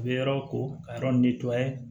U bɛ yɔrɔ ko ka yɔrɔ